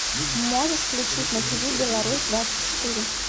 можешь включить на тв белорусь двадцать четыре